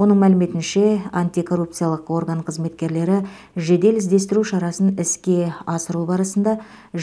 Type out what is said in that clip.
оның мәліметінше антикоррупциялық орган қызметкерлері жедел іздестіру шарасын іске асыру барысында